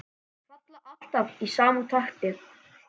Falla alltaf í sama takti.